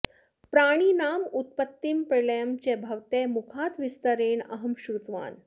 प्राणिनाम् उत्पत्तिं प्रलयं च भवतः मुखात् विस्तरेण अहं श्रुतवान्